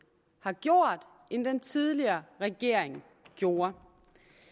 har gjort end den tidligere regering gjorde